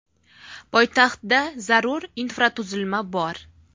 Poytaxtda zarur infratuzilma bor!